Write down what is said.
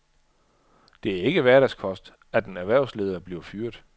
Det er ikke hverdagskost, at en erhvervsleder bliver fyret.